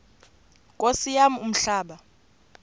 nkosi yam umhlaba